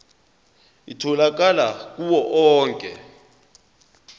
itholakala kuwo onke